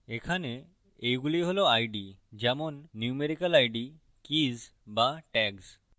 এখানে এইগুলি হল আইডিযেমন numerical সংখ্যাসূচক আইডি কীজ বা tags